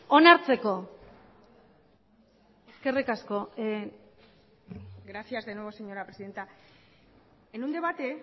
onartzeko eskerrik asko gracias de nuevo señora presidenta en un debate